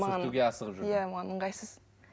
сүртуге асығып жүрдің иә маған ыңғайсыз